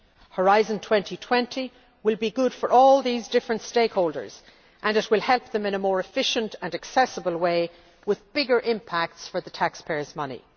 Horizon 2020 will be good for all these different stakeholders and it will help them in a more efficient and accessible way with bigger impacts for taxpayers' money.